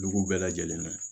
Dugu bɛɛ lajɛlen na